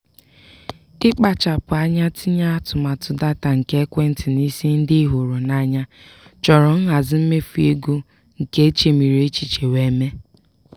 ịkpachapụ anya tinye atụmatụ data nke ekwentị n'isi ndị ị hụrụ n'anya chọrọ nhazi mmefu ego nke e chemiri echiche wee mee.